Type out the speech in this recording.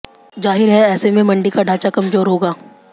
जाहिर है ऐसे में मंडी का ढांचा कमजोर होगा